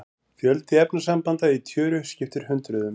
Fjöldi efnasambanda í tjöru skiptir hundruðum.